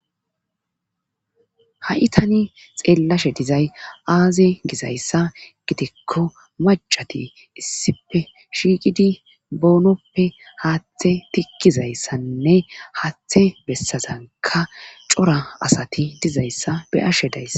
ha7i tani xeellashe dizay aaze gizayssa gidikko macati issipe shiiqidi boonoppe haaththe tikkizayssanne haaththe bessazanka cora asati dizayssa be,ashe dayss